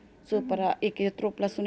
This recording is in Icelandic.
svo bara ekki trufla